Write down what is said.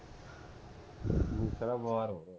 ਮੂਸੇਆਲਾ ਬਿਮਾਰ ਹੋ ਗਿਆ